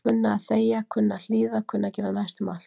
Kunna að þegja, kunna að hlýða kunna að gera næstum allt.